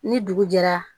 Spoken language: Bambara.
Ni dugu jɛra